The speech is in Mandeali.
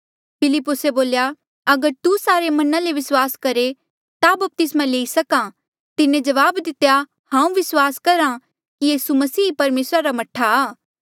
फिलिप्पुसे बोल्या अगर तू सारे मना ले विस्वास करहे ता बपतिस्मा लेई सकां तिन्हें जवाब दितेया हांऊँ विस्वास करहा कि यीसू मसीह ही परमेसरा रा मह्ठा आ